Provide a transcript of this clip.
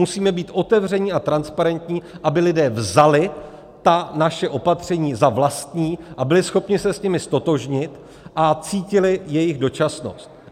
Musíme být otevření a transparentní, aby lidé vzali ta naše opatření za vlastní a byli schopni se s nimi ztotožnit a cítili jejich dočasnost.